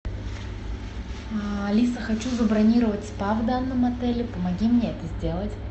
алиса хочу забронировать спа в данном отеле помоги мне это сделать